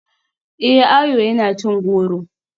Eh, Ayo yana cin goro.